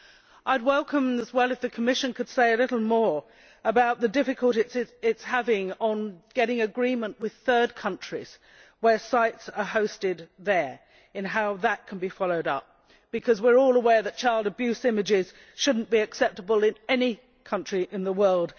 I would also welcome it if the Commission could say a little more about the difficulties it is having in getting agreement with third countries where sites are hosted and how that can be followed up, because we are all aware that child abuse images should not be acceptable in any country in the world.